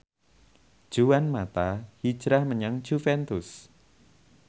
Juan mata hijrah menyang Juventus